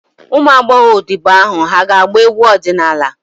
Ụmụ agbọghọ odibo ahụ hà ga-agba egwu ọdịnala?